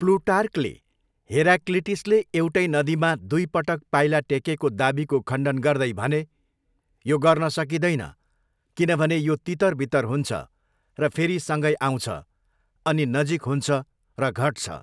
प्लुटार्कले हेराक्लिटसले एउटै नदीमा दुई पटक पाइला टेकेको दावीको खण्डन गर्दै भने, 'यो गर्न सकिँदैन किनभने यो तितरबितर हुन्छ र फेरि सँगै आउँछ, अनि नजिक हुन्छ र घट्छ'।